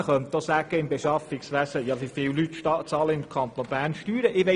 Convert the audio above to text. Man könnte auch fragen, wie viele Mitarbeitende im Kanton Bern Steuern zahlen.